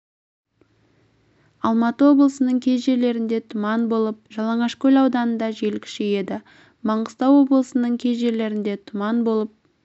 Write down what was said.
алматы облысының кей жерлерінде тұман болып жалаңашкөл ауданында жел күшейеді маңғыстау облысының кей жерлерінде тұман болып